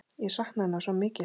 Ég sakna hennar svo mikið.